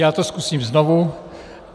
Já to zkusím znovu.